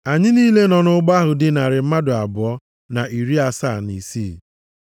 Anyị niile nọ nʼụgbọ ahụ dị narị mmadụ abụọ na iri asaa na isii.